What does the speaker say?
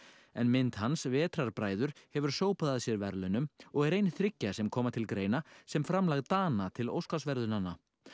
en mynd hans hefur sópað að sér verðlaunum og er ein þriggja sem koma til greina sem framlag Dana til Óskarsverðlaunanna